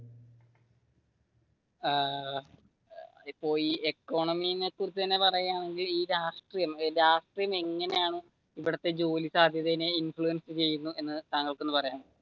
ഏർ ഇപ്പൊ ഈ ഇക്കോണമി കുറിച്ച് തന്നെ പറയുകയാണെങ്കിൽ ഈ രാഷ്ട്രീയം രാഷ്ട്രീയം എങ്ങനെയാണ് ഇവിടത്തെ ജോലി സാധ്യതയെ ഇൻഫ്ലുവൻസ ചെയ്യുന്നതെന്ന് താങ്കൾക്ക് ഒന്ന് പറയാമോ?